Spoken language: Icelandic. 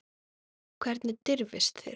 Hvernig dirfist þér.